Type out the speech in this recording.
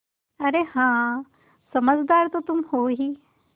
अरे हाँ समझदार तो तुम हो ही